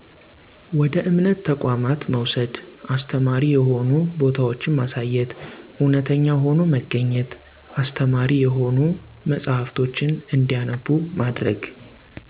ወደ እምነት ተቋማት መውሰድ፣ አስተማሪ የሆኑ ቦታወችማሳየት፣ እውነተኛ ሆኖ መገኝት፣ አስተማሪ የሆኑ መጸሐፍቶችን እንዲያነቡ ማድረግ።